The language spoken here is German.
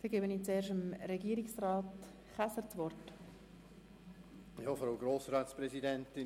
Es haben sich keine weiteren Einzelsprecher gemeldet.